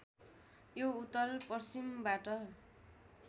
यो उत्तर पश्चिमबाट